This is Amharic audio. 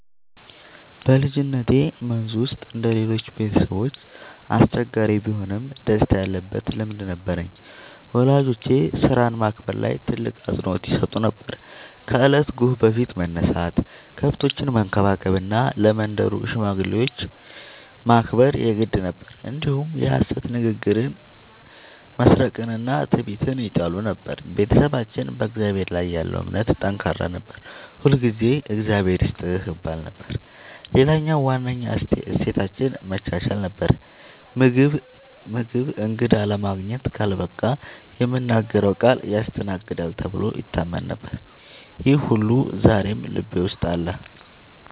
በልጅነቴ መንዝ ውስጥ እንደ ሌሎቹ ቤተሰቦች አስቸጋሪ ቢሆንም ደስታ ያለበት ልምድ ነበረኝ። ወላጆቼ ሥራን ማክበር ላይ ትልቅ አፅንዖት ይሰጡ ነበር፤ ከእለቱ ጎህ በፊት መነሳት፣ ከብቶችን መንከባከብ እና ለመንደሩ ሽማግሌዎች ማክበር የግድ ነበር። እንዲሁም የሐሰት ንግግርን፣ መስረቅንና ትዕቢትን ይጠሉ ነበር። ቤተሰባችን በእግዚአብሔር ላይ ያለው እምነት ጠንካራ ነበር፤ ሁልጊዜ “እግዚአብሔር ይስጥህ” ይባል ነበር። ሌላው ዋነኛ እሴታችን መቻቻል ነበር፤ ምግብ እንግዳ ለማግኘት ካልበቃ የምናገረው ቃል ያስተናግዳል ተብሎ ይታመን ነበር። ይህ ሁሉ ዛሬም ልቤ ውስጥ አለ።